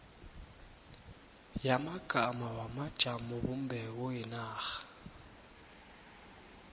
yamagama wamajamobumbeko wenarha